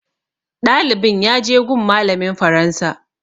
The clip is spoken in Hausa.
Ɗalibin ya je gun malamin faransa